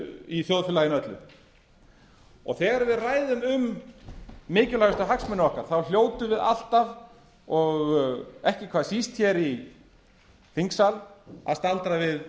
í þjóðfélaginu öllu þegar við ræðum um mikilvægustuhagsmuni okkar hljótum við alltaf og ekki hvað síst í þingsal að staldra við